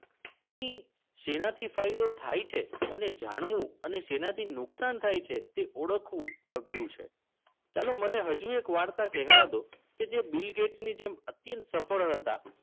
તેને સેનાથી ફાયદો થાય છે અને જાણવું. અને સેનાથી નુકસાન થાય છે તે ઓળખવું અઘરું છે. ચલો મને હજુ એક વાર્તા કહેવા દો. કે જે બિલ ગેટ્સ ની જેમ અત્યંત સફળ હતા.